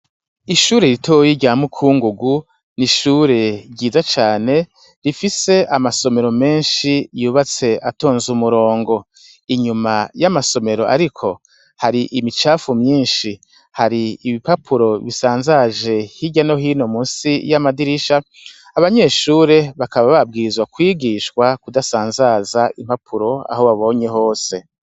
Ishure ritoyi rya mukugungu, n'ishure ryiza cane rifise amasomero menshi yubatse atoze umurongo, inyuma yamasomero ariko hari imicafu myinshi, hari ibipapuro bisazaje hirya no hino munsi ya madirisha, abanyeshure bakaba babwirizwa kwigishwa kudasazaza impapuro aho babonye hose.